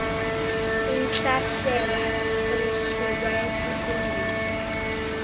intlahlela emsulwa yesifundisi